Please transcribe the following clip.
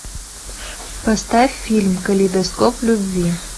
поставь фильм калейдоскоп любви